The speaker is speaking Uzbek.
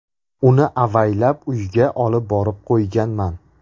Uni avaylab uyga olib borib qo‘yganman.